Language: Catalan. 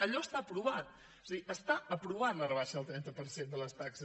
allò està aprovat és a dir està aprovada la rebaixa del trenta per cent de les taxes